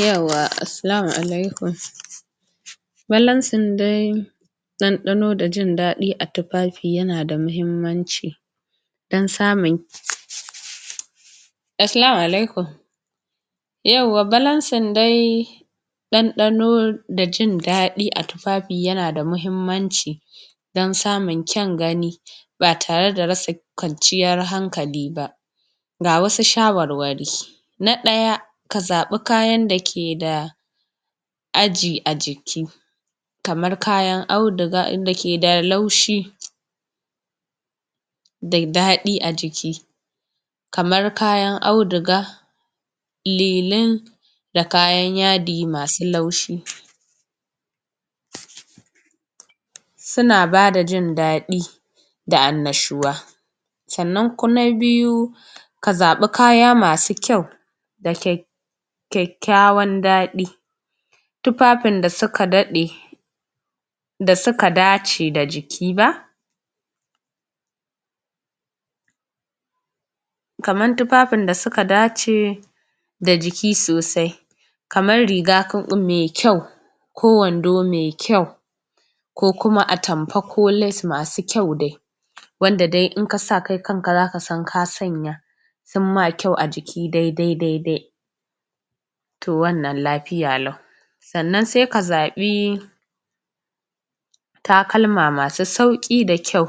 yawwa Assalamu'alaikum bambancin dai ɗanɗano da jinɗaɗi a tufafi yanada mahimmanci dan samun Assalamu'alaikum bambancin dai ɗanɗano da jinɗaɗi a tufafi yana da mahimmanci dan samun kyan gani ba tare da rasa kwanciyan hankali ba ga wasu shawarwari na ɗaya ka zaɓa kayan da ke da aji a jiki kaman kayan auduga inda ke da laushi da daɗi a jiki kaman kayar auduga lilin da kayan yadi masu laushi suna ba da jindaɗi da annashuwa sannan ku na biyu ka zaɓi kaya masu kyau da kya kyakkyawan daɗi tufafin da suka daɗe da suka dace da jiki ba kaman tufafin da suka dace da jiki sosai kaman riga? mai kyau ko wando me kyau ko kuma atamfa ko les masu kyau dai wanda dai in kasa kai kanka zaka san ka sanya sun ma kyau a jiki daidai daidai to wannan lafiya lau sannan sai ka zaɓi takalma masu sauƙi da kyau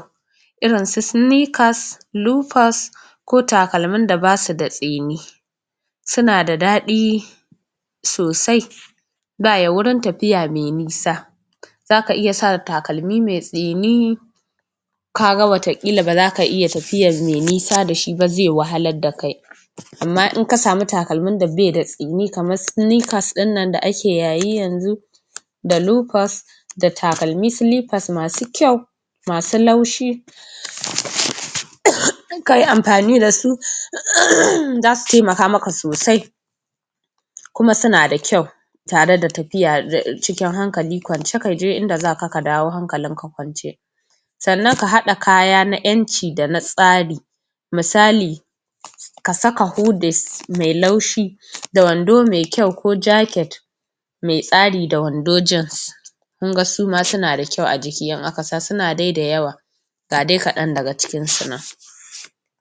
irin su sinikas lukas ko takalmin da basu da tsini suna da daɗi sosai ga ya wurin tafiya mai nisa zaka iya sa takalmi mai tsini kaga wata ƙila ba zaka iya tafiyan mai nisa da shi ba zai wahalar da kai amma in ka samu takalmin da baida tsini kaman silifas ɗinnan da ake yayi yanzu da lofas da takalmi silifas masu kyau masu laushi? kayi amfani da su za su taimaka sosai kuma syna da kyau tare da tafiya da cikin hankali kwance kaje inda zaka ka dawo hankali kwance sannan ka haɗa kaya na ƴanci da na tsari misali ka saka hudis mai laushi da wando mai kyau ko jaket mai tsari da wando jins kun ga suma suna da kyau a jiki in aka sa suna dai da yawa ga dai kaɗan daga cikin su nan